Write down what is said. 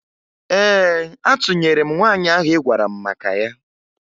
Ee, atụnyere m nwaanyị ahụ ị gwara m maka ya